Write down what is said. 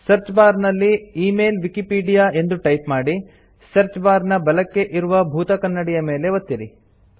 search bar ನಲ್ಲಿ email Wikipedia ಎಂದು type ಮಾಡಿ ಸರ್ಚ್ ಬಾರ್ ನ ಬಲಕ್ಕೆ ಇರುವ ಬೂತಕನ್ನಡಿಯ ಮೇಲೆ ಒತ್ತಿರಿ